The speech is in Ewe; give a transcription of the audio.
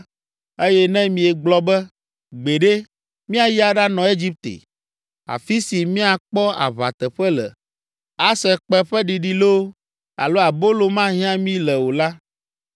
eye ne miegblɔ be, ‘Gbeɖe, míayi aɖanɔ Egipte, afi si míakpɔ aʋa teƒe le, ase kpẽ ƒe ɖiɖi loo, alo abolo mahiã mí le o la,’